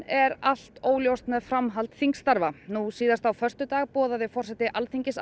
er allt óljóst með framhald þingstarfa nú síðast á föstudag boðaði forseti Alþingis